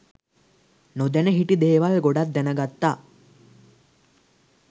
නොදැන හිටි දේවල් ගොඩක් දැනගත්තා